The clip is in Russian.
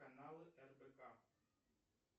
каналы рбк